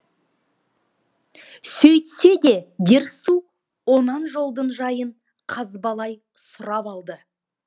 сөйтсе де дерсу онан жолдың жайын қазбалай сұрап алды